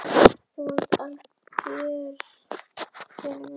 Hún kúrði til fóta hjá mömmu og ég við hálsakot pabba.